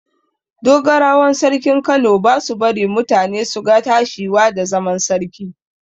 Dogarawan sarkin Kano ba su bari mutane su ga tashiwa da zaman sarki.